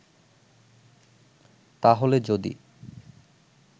তাহলে যদি